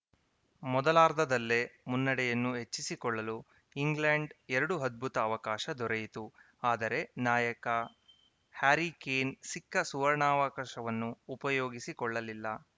ಮೊದಲಾರ್ಧದಲ್ಲೇ ಮುನ್ನಡೆಯನ್ನು ಹೆಚ್ಚಿಸಿಕೊಳ್ಳಲು ಇಂಗ್ಲೆಂಡ್‌ ಎರಡು ಅದ್ಭುತ ಅವಕಾಶ ದೊರೆಯಿತು ಆದರೆ ನಾಯಕ ಹ್ಯಾರಿ ಕೇನ್‌ ಸಿಕ್ಕ ಸುವರ್ಣಾವಕಾಶವನ್ನು ಉಪಯೋಗಿಸಿಕೊಳ್ಳಲಿಲ್ಲ